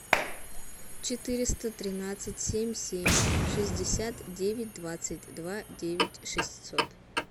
четыреста тринадцать семь семь шестьдесят девять двадцать два девять шестьсот